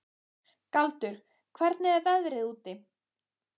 Galdur, hvernig er veðrið úti?